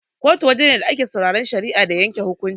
Kotu waje ne da ake sauraran shari'a da yanke hukunci.